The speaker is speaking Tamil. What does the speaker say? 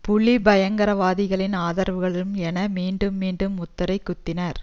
புலி பயங்கரவாதிகளின் ஆதரவாளர்கள் என மீண்டும் மீண்டும் முத்திரை குத்தினர்